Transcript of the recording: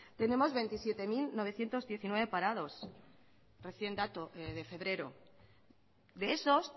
tenemos veintisiete mil novecientos diecinueve parados recién dato de febrero de esos